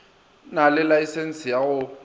na le laesense ya go